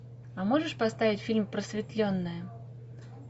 а можешь поставить фильм просветленная